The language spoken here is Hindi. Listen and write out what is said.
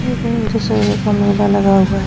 और इधर दशहरे का मेला लगा हुआ है।